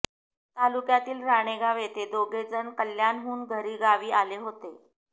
तालुक्यातील राणेगाव येथे दोघेजण कल्याणहुन घरी गावी आले होते